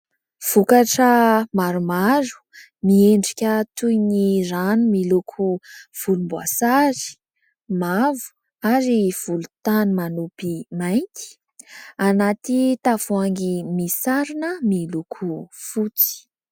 Vokatra maromaro miendrika toy ny rano miloko volomboasary, mavo ary volontany manompy mainty anaty tavoahangy misy sarony miloko fotsy.